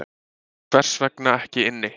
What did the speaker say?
Hvers vegna ekki inni